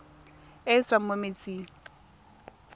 e e tswang mo metsing